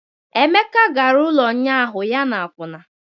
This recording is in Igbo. Emeka gara ụlọ ụnyaahụ ya na akwụna